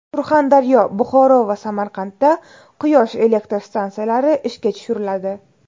Surxondaryo, Buxoro va Samarqandda quyosh elektr stansiyalari ishga tushiriladi.